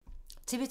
TV 2